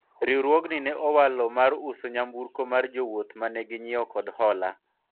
riwruogni ne owalo mar uso nyamburko mar jowuoth mane ginyiewo kod hola